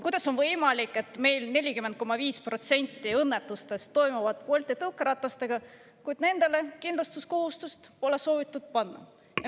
Kuidas on võimalik, et meil 40,5% õnnetustest toimuvad Bolti tõukeratastega, kuid nendele kindlustuskohustust pole soovitud panna?